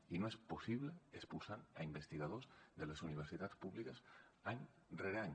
i no és possible expulsant a investigadors de les universitats públiques any rere any